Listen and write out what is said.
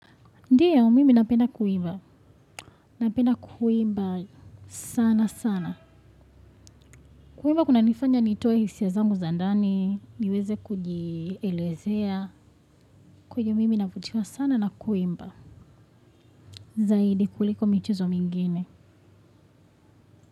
Ndiyo mimi napenda kuiva. Napenda kuimba sana sana. Kuimba kuna nifanya nitoe hisia zangu zandani, niweze kujielezea. Kwa hio mimi navutiwa sana na kuimba. Zaidi kuliko michezo mingine.